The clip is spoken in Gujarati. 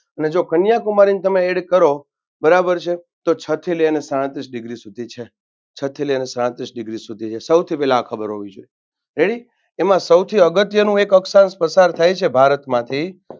અને જો કન્યાકુમારીને તમે Add કરો બરાબર છે તો છ થી લઈ અને સાડત્રીશ Degree સુધી છે છ થી લઈ અને સાડત્રીશ Degree સુધી છે સૌથી પહેલા આ ખબર હોવી જોઈએ. Ready એમાં સૌથી અગત્યનો એક અક્ષાંશ પસાર થાય છે ભારતમાંથી